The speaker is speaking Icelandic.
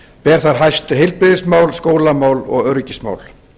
ber þar hæst heilbrigðismál skólamál og öryggismál